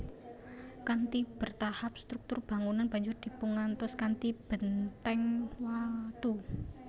Kanthi bertahap struktur bangunan banjur dipungantos kanthi bèntèng watu